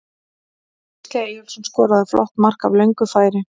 Gísli Eyjólfsson skoraði flott mark af löngu færi.